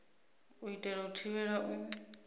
u itela u thivhela u